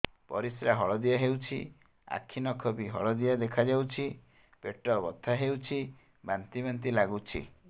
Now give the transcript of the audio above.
ପରିସ୍ରା ହଳଦିଆ ହେଉଛି ଆଖି ନଖ ବି ହଳଦିଆ ଦେଖାଯାଉଛି ପେଟ ବଥା ହେଉଛି ବାନ୍ତି ବାନ୍ତି ଲାଗୁଛି